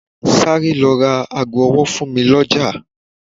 Sáré lọ ra ago ọwọ fún mi lọjà.